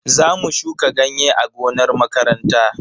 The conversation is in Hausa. Zamu shuka ganye a gonar makaranta.